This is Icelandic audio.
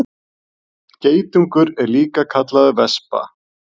Geitungur er líka kallaður vespa.